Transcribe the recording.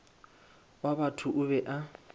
wa batho o be a